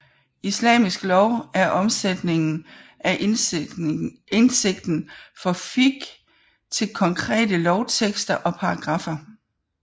Islamisk lov er omsætningen af indsigten fra fiqh til konkrete lovtekster og paragraffer